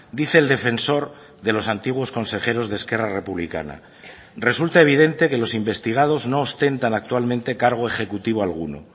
dice el defensor de los antiguos consejeros de esquerra republicana resulta evidente que los investigados no ostentan actualmente cargo ejecutivo alguno